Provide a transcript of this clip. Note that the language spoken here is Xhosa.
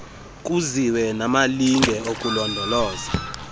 kuziwe namalinge okulondoloza